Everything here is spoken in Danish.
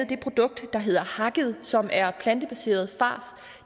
det produkt der hedder hakket som er plantebaseret fars og